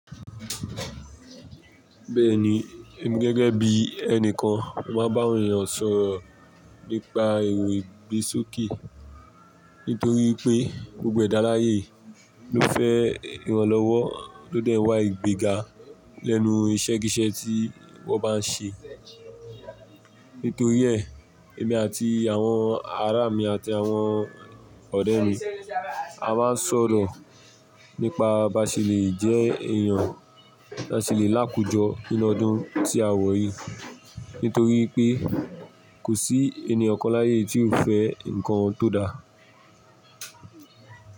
Bẹ́ẹ̀ni, èmi gẹ́gẹ́ bí ẹni kan máa bá awon èeyàn sọ̀rọ̀ nípa èrò ìgbésókè. Nítorí i pé, gbogbo ẹ̀dá láyé yii ló fẹ́ ìrànlọ́wọ́ ló dẹ̀ wá ìgbéga lẹ́nu iṣẹ́ kíṣẹ́ tí wọ́n bá n ṣe. Nítorí ẹ, èmi àti àwọn ará mi àti àwọn ọ̀rẹ́ mi a máa n sọ̀rọ̀ nípa báṣe lè jẹ́ èèyàn ta ṣe lè lákojọ nínú ọdún tí a wọ̀ yìí. Nítorí i pé, kò sí ẹniyan kan láyé yii tí ò fẹ́ nǹkan tó da.